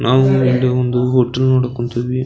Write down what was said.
ನಾವು ಒಂದೆ ಒಂದು ಹೋಟೆಲ್ ನೋಡೋಕ್ಹೊಂತಿವಿ.